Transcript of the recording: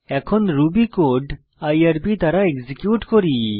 এখন Ruby code IRB দ্বারা execute করি